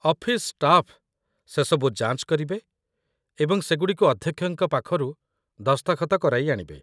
office staff ସେସବୁ ଯାଞ୍ଚ କରିବେ ଏବଂ ସେଗୁଡ଼ିକୁ ଅଧ୍ୟକ୍ଷଙ୍କ ପାଖରୁ ଦସ୍ତଖତ କରାଇ ଆଣିବେ